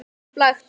Upplagt spil.